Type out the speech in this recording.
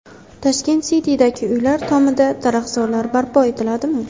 Tashkent City’dagi uylar tomida daraxtzorlar barpo etiladimi?.